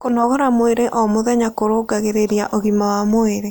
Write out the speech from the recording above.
Kũnogora mwĩrĩ oh mũthenya kũrũngagĩrĩrĩa ũgima wa mwĩrĩ